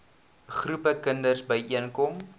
groepe kinders byeenkom